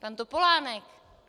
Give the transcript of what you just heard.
Pan Topolánek!